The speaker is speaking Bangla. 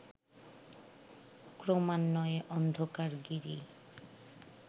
ক্রমান্বয়ে অন্ধকার গিরি